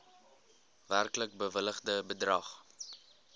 werklik bewilligde bedrag